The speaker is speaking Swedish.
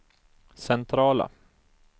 centrala